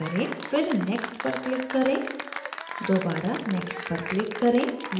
फिर next पर click करें दोबारा next पर click करें